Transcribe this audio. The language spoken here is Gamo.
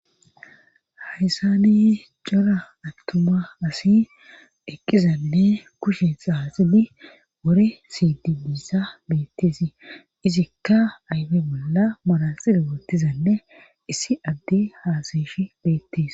haysani cora attuma asi eqqizanne kushen xaaxidi wore siidi biisa beettesi izikka ayfe bolla malasile wotizanne issi adde haasayeshi beettees